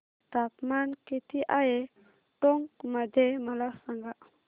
तापमान किती आहे टोंक मध्ये मला सांगा